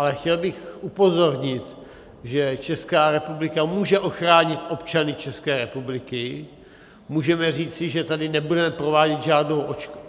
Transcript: Ale chtěl bych upozornit, že Česká republika může ochránit občany České republiky, můžeme říci, že tady nebudeme provádět